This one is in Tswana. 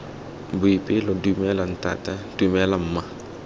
boipelo dumela ntata dumela mma